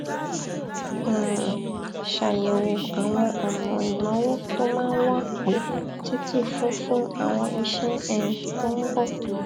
um ṣàyẹwò àwọn ọnà ìnáwó tó máa wà pé títí fún fún àwọn iṣẹ um tó ń bọ